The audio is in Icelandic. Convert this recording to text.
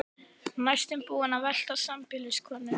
Næstum búinn að velta sambýliskonunni um koll.